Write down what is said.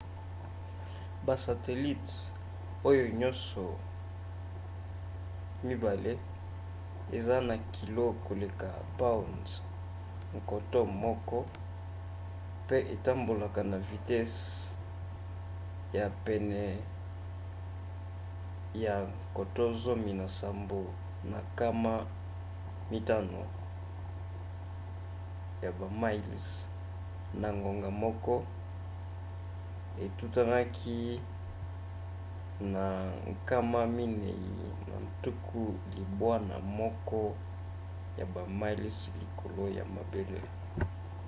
basatelite oyo nyonso mibale eza na kilo koleka 1 000 pounds mpe etambolaka na vitese ya pene ya 17 500 miles na ngonga moko etutanaki na 491 miles likolo ya mabele